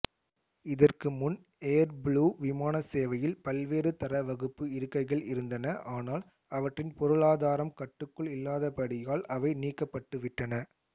இதற்குமுன் ஏர்புளூ விமானச்சேவையில் பல்வேறு தரவகுப்பு இருக்கைகள் இருந்தன ஆனால் அவற்றின் பொருளாதாரம் கட்டுக்குள் இல்லாதபடியால் அவை நீக்கப்பட்டுவிட்டன